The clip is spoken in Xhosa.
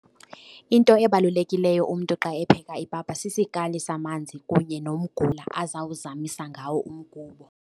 Into ebalulekileyo umntu xa epheka ipapa sisikali samanzi kunye nomgula azawuzamisa ngawo umgubo.